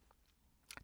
TV 2